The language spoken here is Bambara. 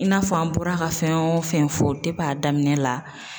I n'a fɔ an bɔra ka fɛn o fɛn fɔ a daminɛ la.